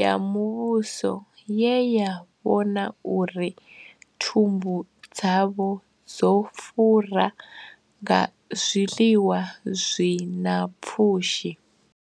ya muvhuso ye ya vhona uri thumbu dzavho dzo fura nga zwiḽiwa zwi na pfushi.